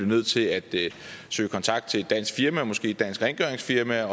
nødt til at søge kontakt til et dansk firma måske et dansk rengøringsfirma